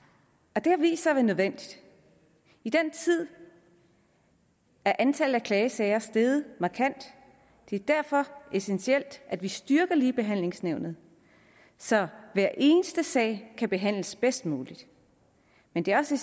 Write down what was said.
det har vist sig at være nødvendigt i den tid er antallet af klagesager steget markant det er derfor essentielt at vi styrker ligebehandlingsnævnet så hver eneste sag kan behandles bedst muligt men det er også